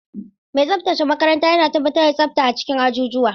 Mai tsaftace makaranta yana tabbatar da tsafta a cikin ajujuwa.